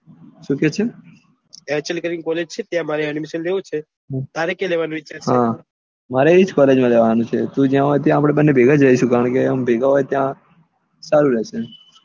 શું કે છે HN કરીને college ત્યાં અમારે admission લેવું છે તારે ક્યાં લેવાનો વિચાર છે હા મારે એજ college માં લેવાનું છે તું જ્યાં હોય ત્યાં આપડે બંને ભેગા રહીશું કારણકે ભેગા હોય ત્યાં સારું રેહશે